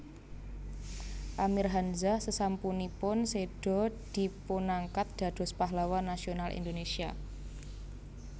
Amir Hanzah sesampunipun sèda dipunangkat dados Pahlawan Nasional Indonésia